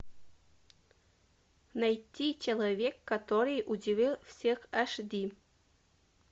найти человек который удивил всех аш ди